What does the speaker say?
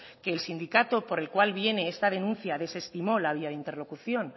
que el sindicato por el cual viene esta denuncia desestimó la vía de interlocución